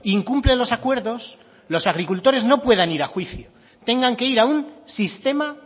incumple los acuerdos los agricultores no puedan ir a juicio tengan que ir a un sistema